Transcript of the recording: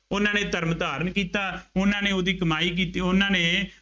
ਉਹਨਾ ਨੇ ਧਰਮ ਧਾਰਨ ਕੀਤਾ। ਉਹਨਾ ਨੇ ਉਹਦੀ ਕਮਾਈ ਕੀਤੀ। ਉਹਨਾ ਨੇ